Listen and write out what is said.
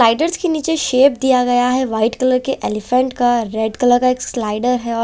Riders के नीचे shape दिया गया है वाइट कलर के एलीफैंट का रेड कलर का एक स्लाइडर है औ--